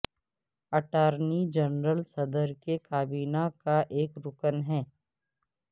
attorney general صدر کی کابینہ کا ایک رکن ہے